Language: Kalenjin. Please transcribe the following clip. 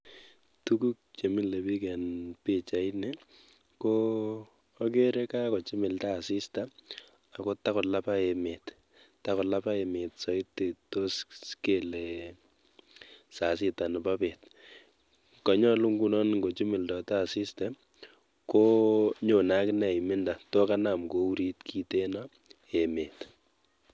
Tukuk chemile biik en pichaini ko akeree kakochimilda asista akotakolaba emet, takolaba emet soiti toos kelee saa sita neboo beet, konyolu ng'ochimildote asista konyone akinee imendo tokanam kourit kiten emet.